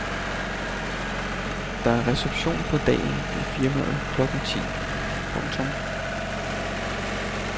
Der er reception på dagen i firmaet klokken ti. punktum